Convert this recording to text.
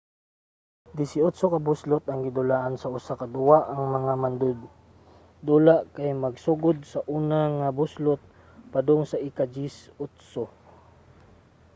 disiotso ka buslot ang gidulaan sa usa ka duwa ang mga mandudula kay magsugod sa una nga buslot padong sa ika-dyesi otso